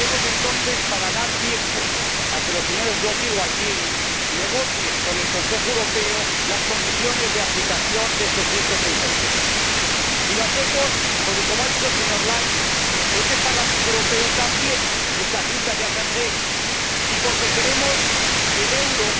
Y lo haremos entonces para dar tiempo a que los señores Brok y Gualtieri negocien con el Consejo Europeo las condiciones de aplicación de este artículo 136. Y lo hacemos porque, como ha dicho el señor Leinen, este Parlamento Europeo también es der Hüter der Verträge, y porque queremos que el euro